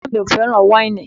Bàbá mi ò fẹ́ràn wáìnì